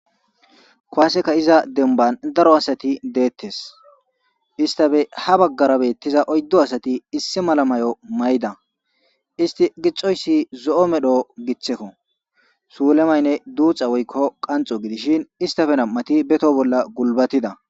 kowaseka iza denban daro asati deettes istafe ha baggara beettiza oyddo asati issi mala mayo mayda isti gixoyssi zo'o medho githekko suulemaynne duuxa woykko qanxo gidishin istafe nam'ti beto bolla gulbatida.